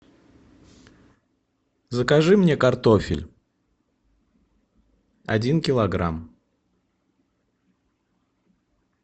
закажи мне картофель один килограмм